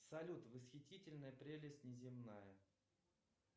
салют восхитительная прелесть неземная